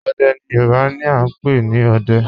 Òdè ni Yorùbá ni à n pẹ̀ ni "Òdẹ̀"